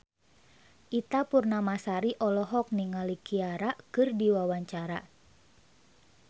Ita Purnamasari olohok ningali Ciara keur diwawancara